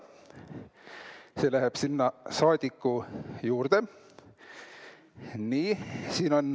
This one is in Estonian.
See läheb siis saadiku juurde.